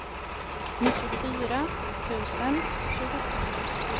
nittiofyra tusen tjugosju